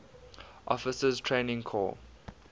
officers training corps